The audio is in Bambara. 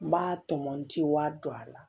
N b'a tɔmɔti wa don a la